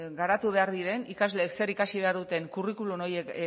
garatu behar diren ikasleek zer ikasi behar duten curriculum horiek